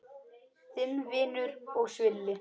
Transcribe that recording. Þinn vinur og svili.